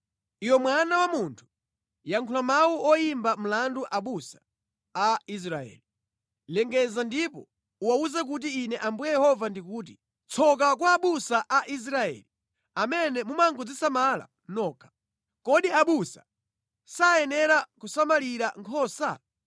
“Iwe mwana wa munthu, yankhula mawu oyimba mlandu abusa a Israeli. Lengeza ndipo uwawuze kuti Ine Ambuye Yehova ndikuti, ‘Tsoka kwa abusa a Israeli amene mumangodzisamala nokha! Kodi abusa sayenera kusamalira nkhosa?